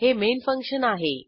हे main function आहे